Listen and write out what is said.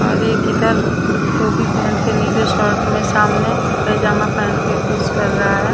और एक इधर टोपी पहन के नीले शर्ट में सामने पैजामा पहन के कुछ कर रहा है।